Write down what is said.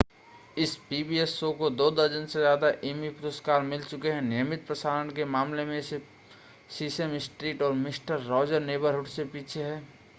इस pbs show को दो दर्जन से ज़्यादा एमी पुरस्कार मिल चुके हैं नियमित प्रसारण के मामले में यह सिर्फ़ सीसेम स्ट्रीट और मिस्टर रॉजर नेबरहुड से पीछे है